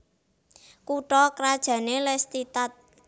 Kutha krajané Lelystad